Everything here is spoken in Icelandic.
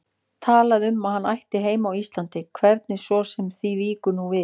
Talaði um að hann ætti heima á Íslandi, hvernig svo sem því víkur nú við.